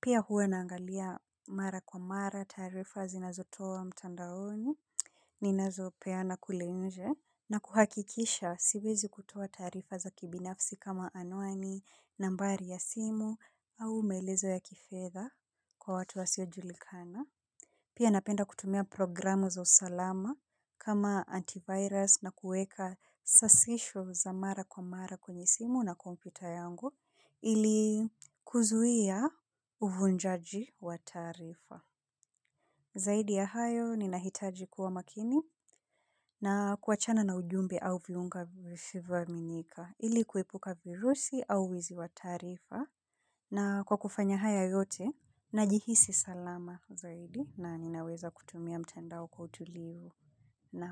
Pia huwa naangalia mara kwa mara taarifa ninazotoa mtandaoni. Ninazo peana kule nje. Na kuhakikisha siwezi kutoa taarifa za kibinafsi kama anuani, nambari ya simu au maelezo ya kifeza kwa watu wasiojulikana. Pia napenda kutumia programu za usalama kama antivirus na kuweka sasisho za mara kwa mara kwenye simu na kompyuta yangu ili kuzuia uvujaji wa taarifa. Zaidi ya hayo ninahitaji kuwa makini na kuachana na ujumbe au viunga visivyo aminika ili kuepuka virusi au wizi wa taarifa na kwa kufanya haya yote najihisi salama zaidi na ninaweza kutumia mtandao kwa utulivu na.